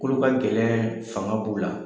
kolo ka gɛlɛn fanga b'u la